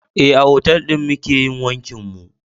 Eh, a otal ɗin muke yin wankin mu